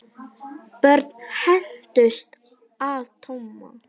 Börn hændust að Tomma.